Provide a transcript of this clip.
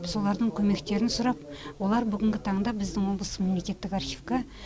солардың көмектерін сұрап олар бүгінгі таңда біздің облыстық мемлекеттік архивқа